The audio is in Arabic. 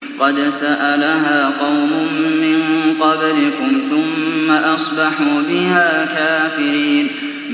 قَدْ سَأَلَهَا قَوْمٌ مِّن قَبْلِكُمْ ثُمَّ أَصْبَحُوا بِهَا كَافِرِينَ